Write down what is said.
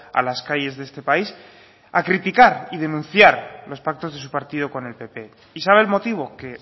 a las calles de este país a criticar y denunciar los pactos de su partido con el pp y sabe el motivo que